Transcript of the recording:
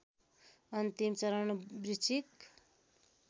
अन्तिम चरण बृश्चिक